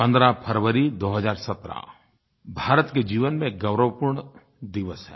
15 फ़रवरी 2017 भारत के जीवन में गौरवपूर्ण दिवस है